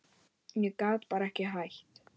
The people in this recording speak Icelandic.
Ég gat bara ekki hætt.